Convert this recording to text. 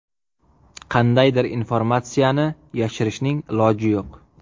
Qandaydir informatsiyani yashirishning iloji yo‘q.